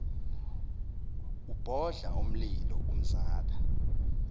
ubhodla umlilo umzala